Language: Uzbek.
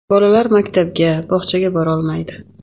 Bolalar maktabga, bog‘chaga borolmaydi.